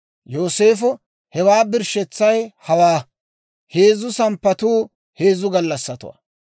Yooseefo, «Hewaa birshshetsay hawaa; heezzu samppatuu heezzu gallassatuwaa.